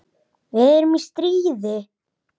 Við erum í stríði.